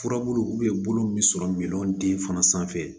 Furabulu bolo min sɔrɔ den fana sanfɛ